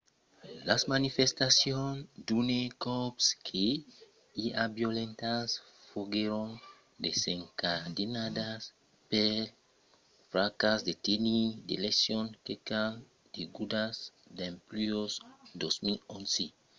las manifestacions d'unes còps que i a violentas foguèron desencadenadas pel fracàs de tenir d'eleccions qualques unas degudas dempuèi 2011